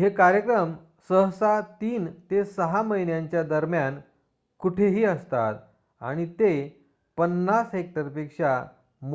हे कार्यक्रम सहसा 3 ते 6 महिन्यांच्या दरम्यान कुठेही असतात आणि ते 50 हेक्टरपेक्षा